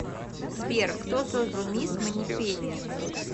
сбер кто создал мисс манипенни